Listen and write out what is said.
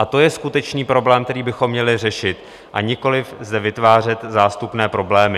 A to je skutečný problém, který bychom měli řešit, a nikoli zde vytvářet zástupné problémy.